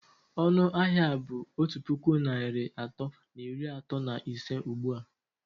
Ọnụ ahịa a bụ otu puku naịra atọ na iri atọ na ise ugbu a?